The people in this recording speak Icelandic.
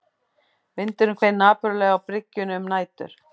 Vindurinn hvein napurlega á byggingunni um nætur